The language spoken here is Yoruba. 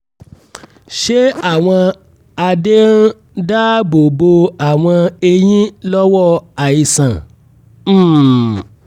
ṣé àwọn adé ń dáàbò bo àwọn eyín lọ́wọ́ àìsàn? um